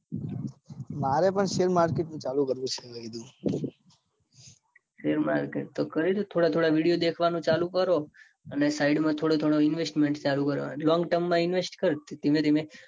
મારે પણ share market નું ચાલુ કરવું છે. હવે કીધું share market તો કરીદો થોડા થોડા video દેખાવાનું ચાલુ કરો. ને side માં થોડું થોડું investment ચાલુ કરવાનું. long term માં invest કર. ધીમે ધીમે